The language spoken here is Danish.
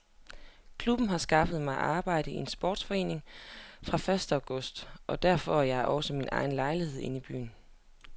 Klubben har skaffet mig arbejde i en sportsforretning fra første august og der får jeg også min egen lejlighed i byen.